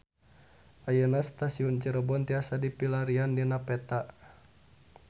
Ayeuna Stasiun Cirebon tiasa dipilarian dina peta